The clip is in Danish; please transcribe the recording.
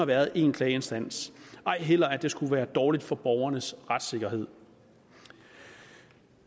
været én klageinstans ej heller om at det skulle være dårligt for borgernes retssikkerhed